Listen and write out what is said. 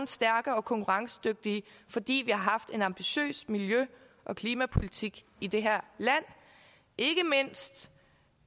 stærke og konkurrencedygtige fordi vi har haft en ambitiøs miljø og klimapolitik i det her land ikke mindst